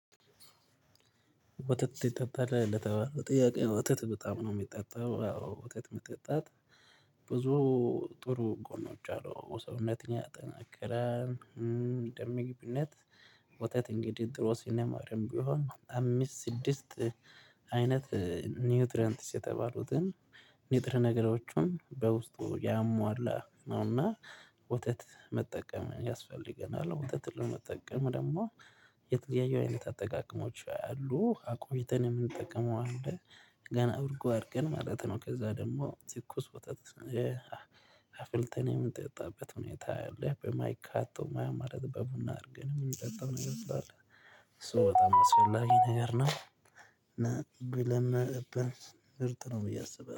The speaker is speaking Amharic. ወተት የሚጠጣው ለተባለ ጥያቄ ወተት በጣም ነው የሚጠጣው ወተት መጠጣት ብዙ ጥሩ ጎኖች አሉ ሰውነትን ያጠነክራል። ደም ግብነት ወተት እንግዲህ ድሮ ሲነማርም ቢሆን አምስት ስድስት አይነት ኒውትረንትስ የተባሉትን ኒጥረ ነገሮቹን በውስጡ ያሟላ ነውና ወተት መጠቀም ያስፈልገናል ወተት ለመጠቀም ደግሞ የተለያየ አይነት አጠቃቀሞች አሉ አቆይተን የምንጠቀመው አለ ገና እርጎ አድርገን ማለት ነው ከዛ ደግሞ ትኩስ ወጣት አፍልተን የምጠጣበት ሁኔታ አለ። አይታውም ማይ ማለት በቡና አድርገን የምንጠጣው ነገር ትላለህ እሱ በጣም አስፈላጊ ነገር ነው እና ብለን ምርጥ ነው ብዬ አስብ